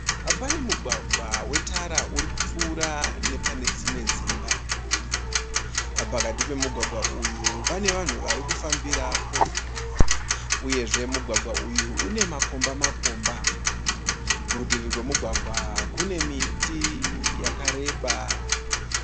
Panemugwagwa wetara urikupfura nepane dzimwe dzimba. Pakati pemugwagwa uyu pane vanhu varikufambirapo, uyezve mugwagwa uyu une makomba makomba. Kurutivi kwemugwagwa uyu kune miti yakareba.